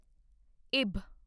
ਇਬ